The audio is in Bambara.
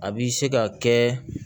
A bi se ka kɛ